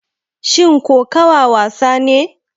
Shin kokawa wasa ne?